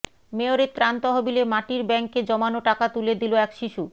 মেয়রের ত্রাণ তহবিলে মাটির ব্যাংকে জমানো টাকা তুলে দিলো এক শিশু